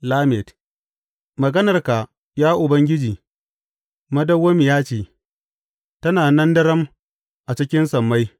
Lamed Maganarka, ya Ubangiji madawwamiya ce; tana nan daram a cikin sammai.